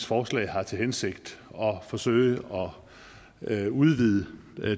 forslag har til hensigt at forsøge at udvide